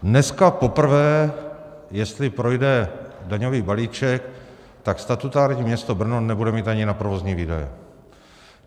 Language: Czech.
Dneska poprvé, jestli projde daňový balíček, tak statutární město Brno nebude mít ani na provozní výdaje.